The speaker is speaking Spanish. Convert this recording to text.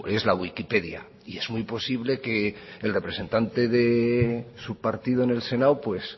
es la wikipedia y es muy posible que el representante de su partido en el senado pues